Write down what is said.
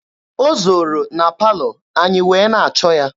O zooro na palọ anyị wee na-achọ ya.